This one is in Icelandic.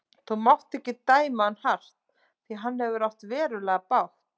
Þú mátt ekki dæma hann hart því að hann hefur átt verulega bágt.